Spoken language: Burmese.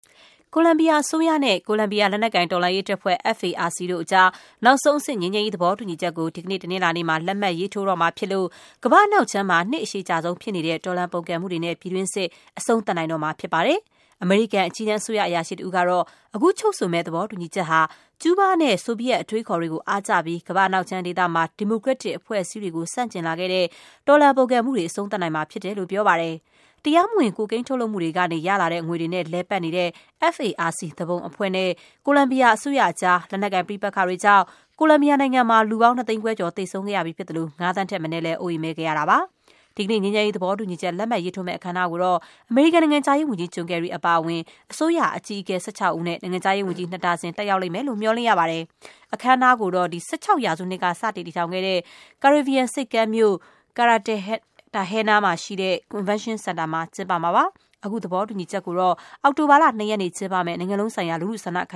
ကိုလံဘီယာအစိုးရနဲ့ ကိုလံဘီယာ လက်နက်ကိုင်တော်လှန်ရေးတပ်ဖွဲ့ FARC တို့ကြား နောက်ဆုံးအဆင့် ငြိမ်းချမ်းရေး သဘောတူညီချက်ကို ဒီကနေ့ တနင်္လာနေ့မှာ လက်မှတ် ရေးထိုးတော့မှာဖြစ်လို့ ကမ္ဘာ့အနောက်ခြမ်းမှာ နှစ်အရှည်ကြာဆုံးဖြစ်နေတဲ့ တော်လှန်ပုန်ကန်မှုတွေနဲ့ ပြည်တွင်းစစ်ကို အဆုံးသတ်နိုင်တော့မှာ ဖြစ်ပါတယ်။ အမေရိကန် အကြီးတန်း အစိုးရအရာရှိတဦးကတော့ အခုချုပ်ဆိုမယ့် သဘောတူညီချက်ဟာ - ကျူးဘားနဲ့ ဆိုဗီယက်အတွေးအခေါ်တွေကို အားကျပြီး ကမ္ဘာ့အနောက်ခြမ်းဒေသမှာ ဒီမိုကရက်တစ် အဖွဲ့အစည်းတွေကို ဆန့်ကျင်လာခဲ့တဲ့ တော်လှန်ပုန်ကန်မှုတွေကို အဆုံးသတ်နိုင်မှာဖြစ်တယ်လို့ ပြောပါတယ်။ တရားမဝင် ကိုကိန်း ထုတ်လုပ်မှုတွေ ကနေ ရလာတဲ့ငွေတွေနဲ့ လည်ပတ်နေတဲ့ FARC သူပုန်အဖွဲ့နဲ့ ကိုလံဘီယာအစိုးရအကြား လက်နက်ကိုင် ပဋိပက္ခတွေ ကြောင့် ကိုလံဘီယာနိုင်ငံမှာ လူပေါင်း ၂ သိန်းခွဲကျော် သေဆုံးခဲ့ရပြီးဖြစ်သလို၊ ငါး သန်းထက်မနည်း အိုးအိမ်မဲ့ ခဲ့ရပြီးပါပြီ။ ဒီကနေ့ ငြိမ်းချမ်းရေး သဘောတူညီချက် လက်မှတ်ရေးထိုးမယ့် အခမ်းအနားကိုတော့ အမေရိကန် နိုင်ငံခြားရေးဝန်ကြီး ဂျွန်ကယ်ရီ အပါအဝင် အစိုးရအကြီးအကဲ ၁၆ ဦးနဲ့ နိုင်ငံခြားရေးဝန်ကြီး နှစ်ဒါဇင် တက်ရောက်လိမ့်မယ်လို့ မျှော်လင့်ရပါတယ်။ အခမ်းအနားကိုတော့ ၁၆ ရာစုနှစ်က စတင် တည်ထောင်ခဲ့တဲ့ ကာရေဗီယံဆိပ်ကမ်းမြို့ ကာရ်တာဟဲနာ (Cartagena) မှာရှိတဲ့ ကွန်ဗင်းရှင်းစင်တာမှာ ကျင်းပမှာပါ။ အခု သဘောတူညီချက်ကိုတော့ အောက်တိုဘာလ ၂ ရက်နေ့ကျင်းပမယ့် နိုင်ငံလုံးဆိုင်ရာ လူထုဆန္ဒခ